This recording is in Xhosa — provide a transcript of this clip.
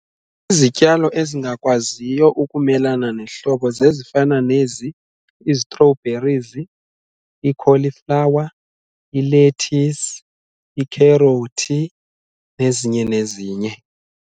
Izityalo ezingakwaziyo ukumelana nehlobo zezifana nezi i-strawberries, ikholiflawa, ilethisi, ikherothi nezinye nezinye.